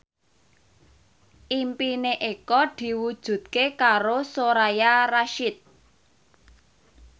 impine Eko diwujudke karo Soraya Rasyid